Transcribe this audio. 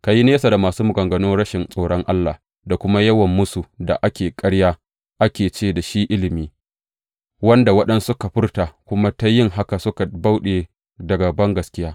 Ka yi nesa da masu maganganun rashin tsoron Allah da kuma yawan mūsu da ake ƙarya, ake ce da shi ilimi, wanda waɗansu suka furta kuma ta yin haka suka bauɗe daga bangaskiya.